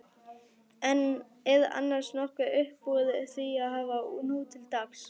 Er annars nokkuð uppúr því að hafa nútildags?